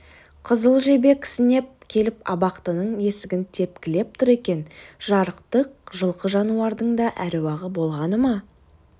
қызыл жебе кісінеп келіп абақтының есігін тепкілеп тұр екен жарықтық жылқы жануардың да әруағы болғаны ма